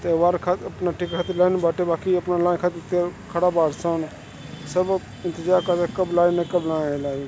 ये वर्कर अपना टिकट खातिर लाइन में बाटे बाकि अपना लाइन खातिर ते खड़ा बारसन। सब इंतज़ार करता कब लाइन कब ना आयी लाइन ।